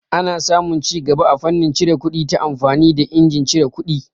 Ana samu cigaba a fannin cire kuɗi ta amfani da injin cire kuɗi.